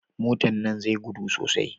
Motan nan zai gudu sosai